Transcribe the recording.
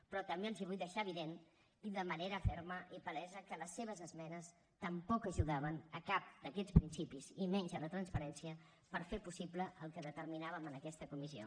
però també els vull fer evident i de manera ferma i palesa que les seves esmenes tampoc ajudaven a cap d’aquests principis i menys a la transparència per fer possible el que determinàvem en aquesta comissió